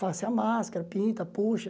Faço a máscara, pinta, puxa.